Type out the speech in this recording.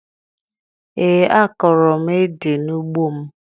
Ee, akọrọ m édè n'ugbo m